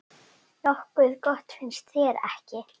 Nokkuð gott, finnst þér ekki?